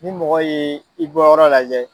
Ni mɔgɔ yee i bɔyɔrɔ lajɛ